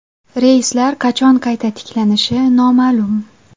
Reyslar qachon qayta tiklanishi noma’lum.